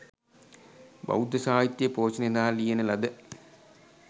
බෞද්ධ සාහිත්‍ය පෝෂණය සඳහා ලියන ලද